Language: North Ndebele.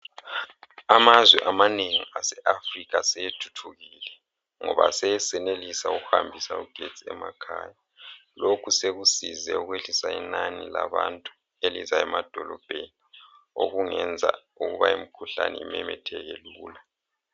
Amazwe amanengi aseAfrica asethuthukile ngoba aseyenelisa ukuhambisa ugetsi emakhaya. Lokhu sekusize ukwehlisa inani labantu elizaya emadolobheni okungenza ukuba imikhuhlane imemetheke lula